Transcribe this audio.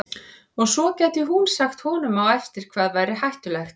Og svo gæti hún sagt honum á eftir hvað væri hættulegt.